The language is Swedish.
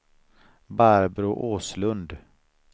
Barbro Åslund